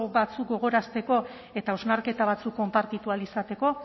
batzuk gogoratzeko eta hausnarketa batzuk konpartitu ahal izateko